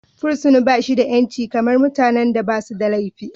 Fursuna ba shi da 'yanci kamar mutanen da ba suda laifi.